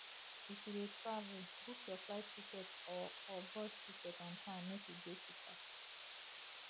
if you de travel book your flight ticket or or bus ticket on time make e de cheaper